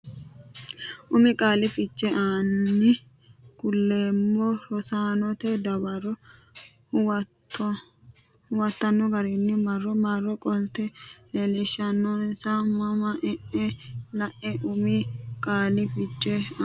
Umi qaali fiche ani kuleemmo Rosaanote dawaro huwattanno garinni marro marro qolte leellishshinsa mma n enna la e Umi qaali fiche ani.